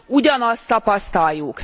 ugyanazt tapasztaljuk.